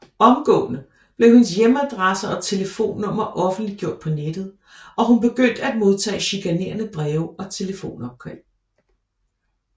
Omgående blev hendes hjemadresse og telefonnummer offentliggjort på nettet og hun begyndte at modtage chikanerende breve og telefonopkald